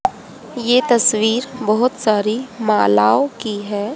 ये तस्वीर बहुत सारी मालाओं की है।